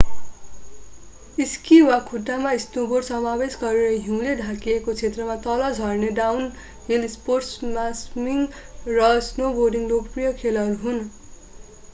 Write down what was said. Ski वा खुट्टामा snowboard समावेश गरेर हिउँले ढाकिएको क्षेत्रमा तल झर्ने डाउनहिल स्नोस्पोर्ट्समा स्किङ र स्नोबोर्डिङ लोकप्रिय खेलहरू हुन्‌।